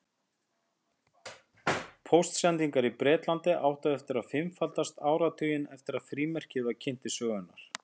Póstsendingar í Bretlandi áttu eftir að fimmfaldast áratuginn eftir að frímerkið var kynnt til sögunnar.